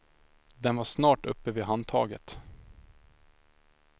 Den var snart uppe vid handtaget.